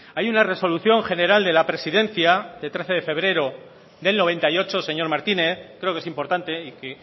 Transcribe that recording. hay una resolución general de la presidencia de trece de febrero del noventa y ocho señor martínez creo que es importante y que